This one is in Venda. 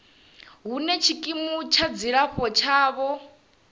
hune tshikimu tsha dzilafho tshavho